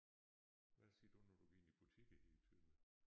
Hvad siger du når du går ind i butikker her i Tønder?